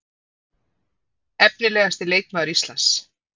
Efnilegasti leikmaður Íslands?